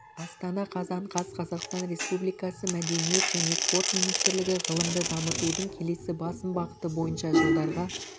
астана қазан қаз қазақстан республикасы мәдениет және спорт министрлігі ғылымды дамытудың келесі басым бағыты бойынша жылдарға